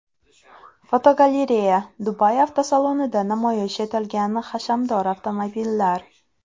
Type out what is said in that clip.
Fotogalereya: Dubay avtosalonida namoyish etilgan hashamdor avtomobillar.